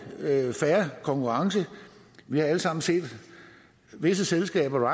fair konkurrence vi har alle sammen set visse selskaber